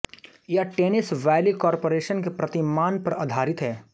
यह Tennessee valley corporation के प्रतिमान पर आधारित है